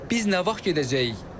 Biz nə vaxt gedəcəyik?